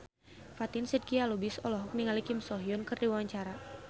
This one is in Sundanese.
Fatin Shidqia Lubis olohok ningali Kim So Hyun keur diwawancara